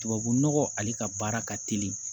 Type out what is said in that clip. Tubabunɔgɔ ale ka baara ka teli